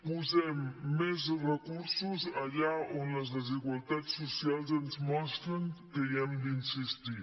posem més recursos allà on les desigualtats socials ens mostren que hi hem d’insistir